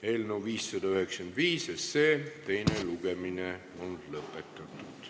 Eelnõu 595 teine lugemine on lõppenud.